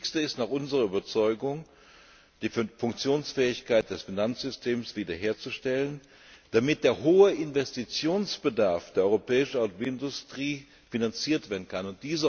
Das Wichtigste ist nach unserer Überzeugung, die Funktionsfähigkeit des Finanzsystems wieder herzustellen, damit der hohe Investitionsbedarf der europäischen Automobilindustrie finanziert werden kann.